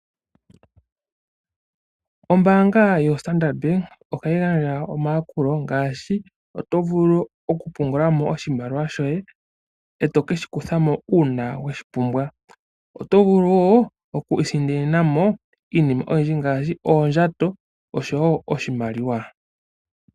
Ombaanga yoStandard Bank ohayi gandja omayakulo ngaashi okupungula mo oshimaliwa shoye eto keshi kuthamo uuna weshi pumbwa. Otovulu wo okwiisindanena mo iinima oyindji ngaashi oondjato oshowoo oshimaliwa.